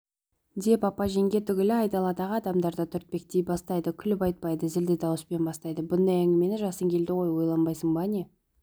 деп апа-жеңге түгіл айдаладағы адамдар да түртпектей бастайды күліп айтпайды зілді дауыспен бастайды бұндай әңгімені жасың келді ғой ойланбайсың ба не